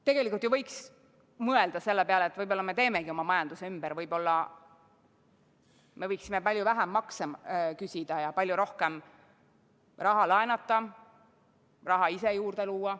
Tegelikult võiks ju mõelda selle peale, et võib-olla me teemegi oma majanduse ümber, võib-olla me võiksimegi palju vähem makse küsida ja palju rohkem raha laenata, raha ise juurde luua.